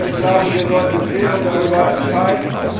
Aber ich glaube, wir sollten im Plenum darüber entscheiden.